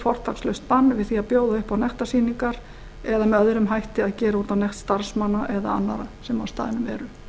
fortakslaust bann við því að bjóða upp á nektarsýningar eða að gera með öðrum hætti út á nekt starfsmanna eða annarra sem á